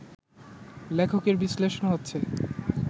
লেখকের বিশ্লেষণ হচ্ছে